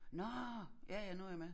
Nårh! Ja ja nu jeg med